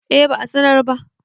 eh ba a sanar ba